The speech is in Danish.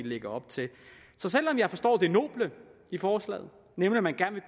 lægger op til så selv om jeg forstår det noble i forslaget nemlig at man gerne